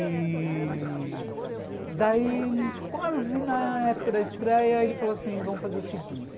E... daí, quase na época da estreia, ele falou assim, vamos fazer o seguinte.